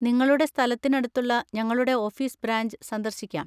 നിങ്ങളുടെ സ്ഥലത്തിന് അടുത്തുള്ള ഞങ്ങളുടെ ഓഫീസ് ബ്രാഞ്ച് സന്ദർശിക്കാം.